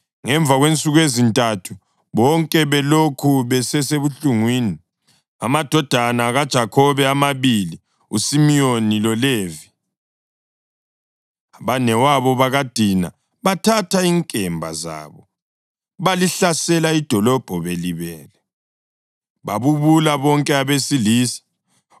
Ngemva kwensuku ezintathu, bonke belokhu besebuhlungwini, amadodana kaJakhobe amabili, uSimiyoni loLevi, abanewabo bakaDina, bathatha inkemba zabo balihlasela idolobho belibele, babulala bonke abesilisa.